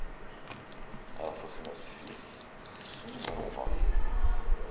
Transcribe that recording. Aí ela falou assim, mas filho, isso não é um rock.